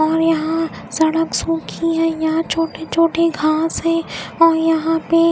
और यहाँ सड़क सूखी है यहाँ छोटे छोटे घास हैं और यहाँ पे.